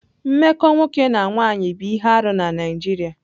Mmekọ nwoke na nwanyị bụ ihe arụ na Naijiria.